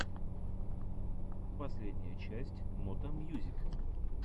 последняя часть мото мьюзик